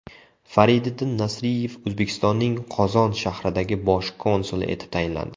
Fariddin Nasriyev O‘zbekistonning Qozon shahridagi bosh konsuli etib tayinlandi.